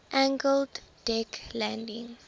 angled deck landing